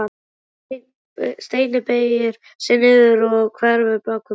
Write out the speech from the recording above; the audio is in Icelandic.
Steini beygir sig niður og hverfur bak við borðið.